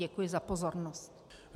Děkuji za pozornost.